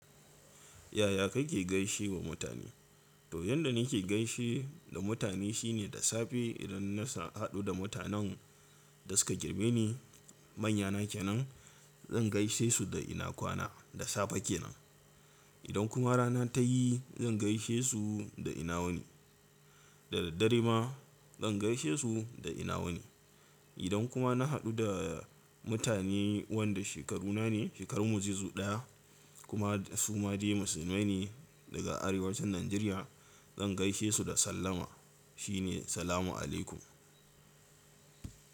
Yaya kike gaishe wa mutane? To yanda nake gaishe da mutane shine da safe idan na sa haɗu da mutanen da suka girme ni manya nake nan, zan gaishe su da ina kwana, da safe kenan. Idan kuma rana ta yi zan gaishe su da ina wani, da daddare ma zan gaishe su da ina wani. Idan kuma na haɗu da mutane wanda shekaru nane, shekaru mu zai zo ɗaya kuma su ma dai musulmai ne daga arewacin Najeriya, zan gaishe su da sallama shine Salamu alaykum.